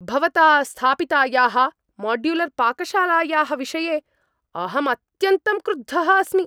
भवता स्थापितायाः माड्युलर्पाकशालायाः विषये अहं अत्यन्तं क्रुद्धः अस्मि।